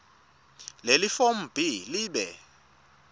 lelifomu b libe